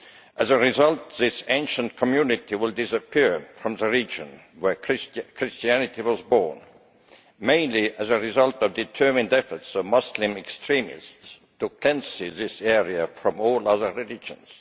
As a result, this ancient community will disappear from the region where Christianity was born, mainly as a result of the determined efforts of Muslim extremists to cleanse this area of all other religions.